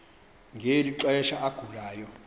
ngeli xesha agulayo